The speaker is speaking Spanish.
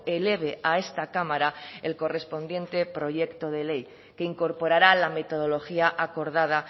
eleve a esta cámara el correspondiente proyecto de ley que incorporará la metodología acordada